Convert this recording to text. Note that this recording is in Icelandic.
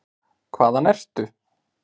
Hvaðan ertu?